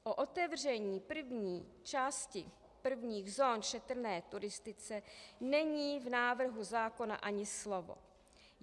O otevření první části prvních zón šetrné turistice není v návrhu zákona ani slovo.